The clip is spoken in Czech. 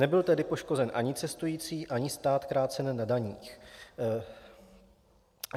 Nebyl tedy poškozen ani cestující, ani stát krácen na daních.